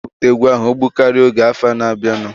Aga m ewepụta egwu ahụ ogbụkaria oge afọ na-abianu